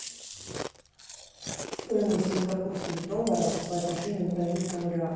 стоимость сингапурских долларов по отношению к бразильскому реалу